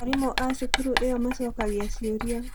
Arimũ a cukuru ĩyo maacokagia ciũria.